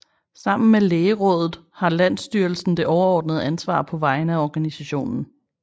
Sammen med lærerådet har landsstyrelsen det overordnede ansvar på vegne af organisationen